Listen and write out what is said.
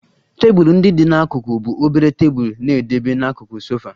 Tebụl ndị dị n'akụkụ bụ obere tebụl na-edebe n'akụkụ sofa